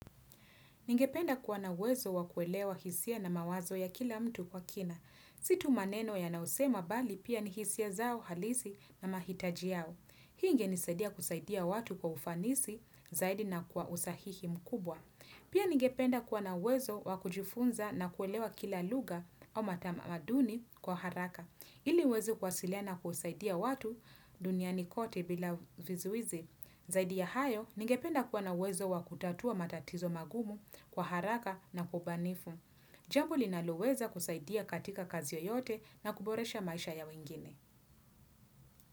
Ningependa kuwa na uwezo wakuelewa hisia na mawazo ya kila mtu kwa kina. Si tu maneno wanaosema bali pia ni hisia zao halisi na mahitaji yao. Hii ingenisaidia kusaidia watu kwa ufanisi zaidi na kwa usahihi mkubwa. Pia ningependa kuwa na uwezo wakujifunza na kuelewa kila lugha au matamaduni kwa haraka. Ili niweze kuwasiliana kusaidia watu duniani kote bila vizuizi. Zaidi ya hayo, ningependa kuwa na uwezo wa kutatua matatizo magumu kwa haraka na kwa ubinifu. Jambo linaloweza kusaidia katika kazi yeyote na kuboresha maisha ya wengine.